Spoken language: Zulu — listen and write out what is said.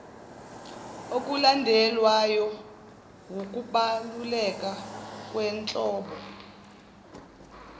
okulandelwayo wukubaluleka kwenhlobo